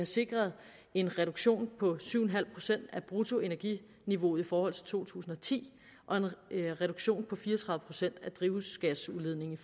sikret en reduktion på syv en halv procent af bruttoenerginiveauet i forhold til to tusind og ti og en reduktion på fire og tredive procent af drivhusgasudledningen